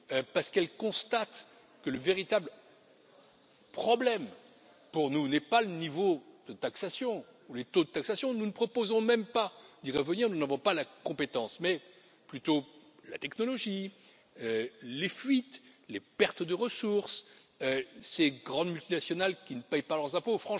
Parce qu'elle constate que le véritable problème pour nous n'est pas le niveau de taxation, ou les taux de taxation nous ne proposons même pas d'y revenir, nous n'avons pas la compétence mais plutôt la technologie, les fuites, les pertes de ressources, ces grandes multinationales qui ne payent pas leurs impôts.